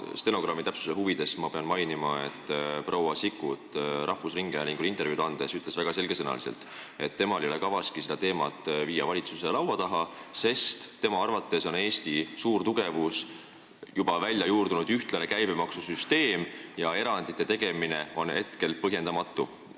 Stenogrammi täpsuse huvides ma pean mainima, et rahvusringhäälingule intervjuud andes ütles proua Sikkut väga selge sõnaga, et temal ei ole kavaski seda teemat valitsuse laua taha viia, sest tema arvates on Eesti suur tugevus juba juurdunud ühtlane käibemaksusüsteem ja erandite tegemine on hetkel põhjendamatu.